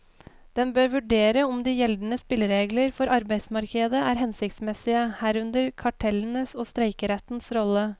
Den bør vurdere om de gjeldende spilleregler for arbeidsmarkedet er hensiktsmessige, herunder kartellenes og streikerettens rolle.